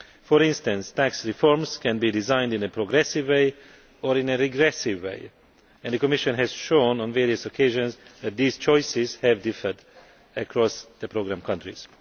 For instance, tax reforms can be designed in a progressive or a regressive way, and the Commission has shown on various occasions that these choices have differed across the programme countries.